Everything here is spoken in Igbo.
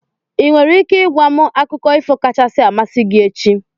Ị nwere ike ị gwa m akụkọ ifo kachasị amasị gị echi?